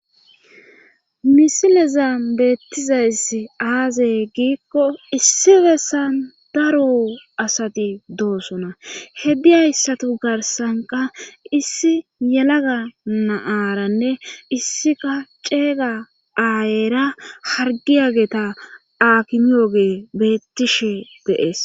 misileza beettizayss aaze giikko issi bessan daro asati doosona he diyayissatu garsanka issi yelaga na'aranne issika ceeyga aayera hargiyageeta akimiyoge bettishe de'ees